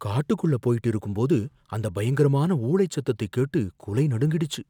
காட்டுக்குள்ள போயிட்டு இருக்கும்போது அந்த பயங்கரமான ஊளைச் சத்தத்தைக் கேட்டு குலை நடுங்கிடுச்சு